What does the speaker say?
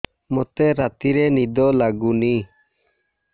ମୋତେ ରାତିରେ ନିଦ ଲାଗୁନି